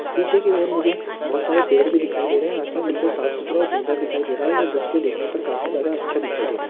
पिछे की और मुझे बहुत सारे पेड़ भी दिखाई दे रहे आसमान बिलकुल साफ सुथरा और सुंदर दिखाई दे रहा और ए दृश्य देखने पर काफी जादा अच्छा दिखाई दे रहा है।